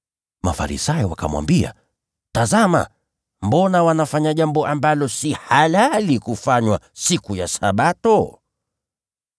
Mafarisayo wakamwambia, “Tazama, mbona wanafanya jambo lisilo halali kufanywa siku ya Sabato?”